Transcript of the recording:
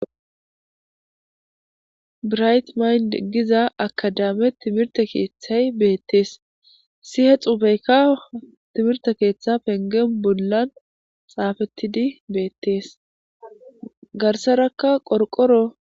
birayt mayn giza akadame timirte keeththay beettees sihe xubeykka timirte keeththa pengen bollan xaafettidi beettees garsarakka qorqoro